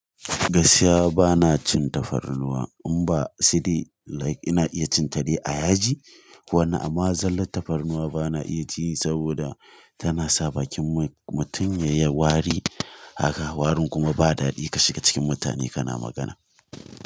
Gaskiya bana cin tafarnuwa in ba sai dai like ina iya cin ta dai a yaji. Wannan amma zallar tafarnuwa bana iya ci saboda tana sa bakin mutum ya yi wari haka, warin kuma ba dadi ka shiga cikin mutane kana magana.